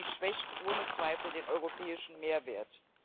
Dies schwächt ohne Zweifel den europäischen Mehrwert.